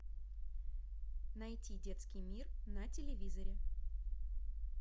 найти детский мир на телевизоре